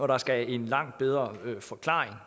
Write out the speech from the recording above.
der skal en langt bedre forklaring